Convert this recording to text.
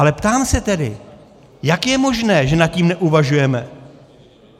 Ale ptám se tedy: Jak je možné, že nad tím neuvažujeme?